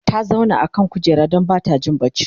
ta zauna a kan kujera Dan Bata Jin barci